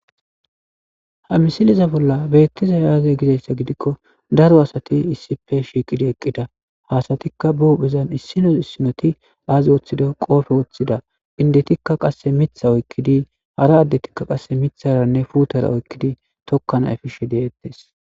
Ha misiliza bolla beettiza aaze gizayssa gidikko daro asati issipe shiiqidi eqqida haasatikka bubezan issino issinoti aazi wooththida qoofe wooththida indetikka qasse mitha oykkidi hara addetikka qasse mitharanne puutara oykkidi tokkanaefishe deettes